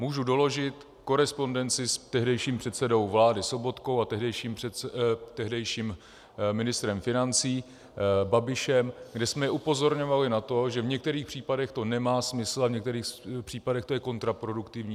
Můžu doložit korespondenci s tehdejším předsedou vlády Sobotkou a tehdejším ministrem financí Babišem, kde jsme upozorňovali na to, že v některých případech to nemá smysl a v některých případech to je kontraproduktivní.